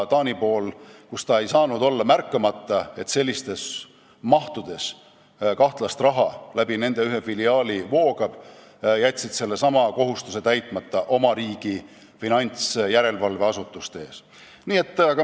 Taani pool ei saanud olla märkamata, et sellistes mahtudes kahtlast raha läbi ühe nende filiaali voogab, ja nad jätsid sellesama kohustuse täitmata oma riigi finantsjärelevalveasutuste ees.